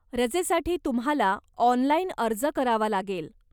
रजेसाठी तुम्हाला ऑनलाइन अर्ज करावा लागेल.